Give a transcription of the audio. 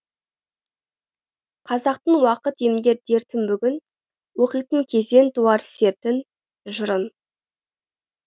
қазақтың уақыт емдер дертін бүгін оқитын кезең туар сертін жырын